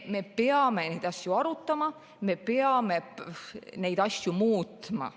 Me peame neid asju arutama, me peame neid asju muutma.